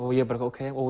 ég bara ókei